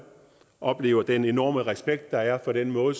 oplever den enorme respekt der er for den måde